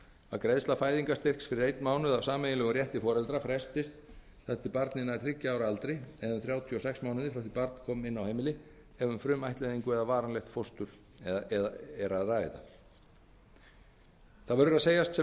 að greiðsla fæðingarstyrks fyrir einn mánuð af sameiginlegum rétti foreldra frestist þar til barnið nær þriggja ára aldri eða um þrjátíu og sex mánuði frá því að barn kom inn á heimili ef um frumættleiðingu eða varanlegt fóstur er að ræða það verður að segjast sem